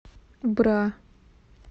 бра